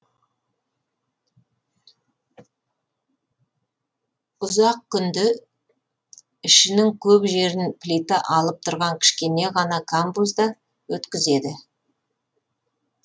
ұзақ күнді ішінің көп жерін плита алып тұрған кішкене ғана камбузда өткізеді